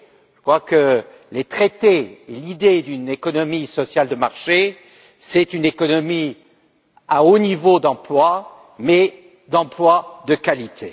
Je crois que dans les traités, l'idée d'une économie sociale de marché renvoie à une économie à haut niveau d'emplois, mais d'emplois de qualité.